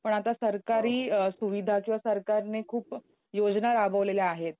पण आता सरकारी अ सुविधा किंवा सरकारने खूप योजना राबवलेल्या आहेत.